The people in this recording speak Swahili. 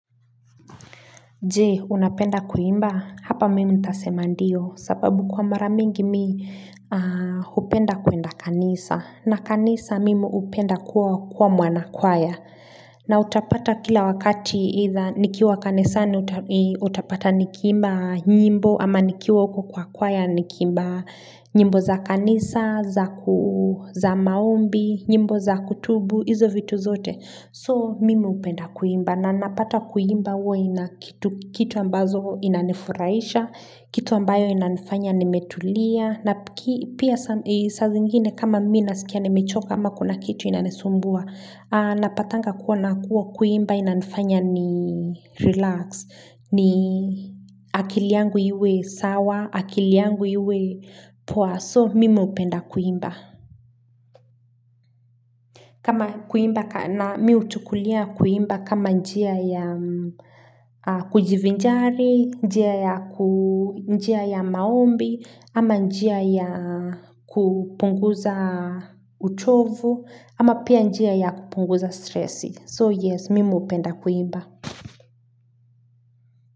Je, unapenda kuimba, hapa mimi nitasema ndio, sababu kwa mara mingi mimi hupenda kuenda kanisa, na kanisa mimi hupenda kuwa mwanakwaya, na utapata kila wakati either, nikiwa kanisa ni utapata nikiimba nyimbo, ama nikiwa uko kwa kwaya nikiimba nyimbo za kanisa, za maombi, nyimbo za kutubu, hizo vitu zote. So mimi hupenda kuimba na napata kuimba huwa ina kitu ambazo inanifurahisha, kitu ambayo inanifanya nimetulia, na pia saa zingine kama mimi ninasikia nimechoka ama kuna kitu inanisumbua. Napatanga kuwa na kuwa kuimba inanifanya ni relax, ni akili yangu iwe sawa, akili yangu iwe poa, so mimi hupenda kuimba. Kama kuimba, na mimi huchukulia kuimba kama njia ya kujivinjari, njia ya maombi, ama njia ya kupunguza utovu, ama pia njia ya kupunguza stressi. So yes, mimi hupenda kuimba.